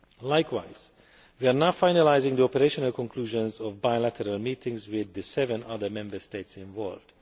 Likewise, we are now finalising the operational conclusions of bilateral meetings with the seven other Member States involved.